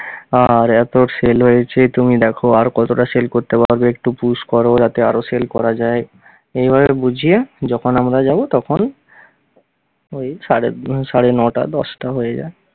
আর এত sell হয়েছে, তুমি দেখো আর কতটা sell করতে পারবে একটু push কর, যাতে আরও sell করা যায় এইভাবে বুঝিয়ে যখন আমরা যাব তখন ওই সাড়ে উহ সাড়ে নটা দশটা হয়ে যায়।